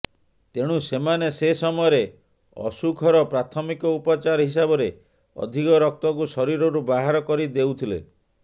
ତେଣୁ ସେମାନେ ସେ ସମୟରେ ଅସୁଖର ପ୍ରାଥମିକ ଉପଚାର ହିସାବରେ ଅଧିକ ରକ୍ତକୁ ଶରୀରରୁ ବାହାର କରିଦେଉଥିଲେ